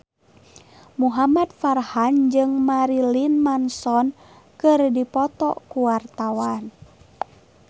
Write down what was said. Muhamad Farhan jeung Marilyn Manson keur dipoto ku wartawan